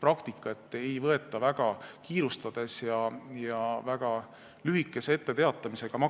praktika, et maksumuudatusi ei võeta vastu väga kiirustades ja väga lühikese etteteatamisajaga.